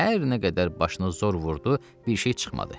Hər nə qədər başına zor vurdu, bir şey çıxmadı.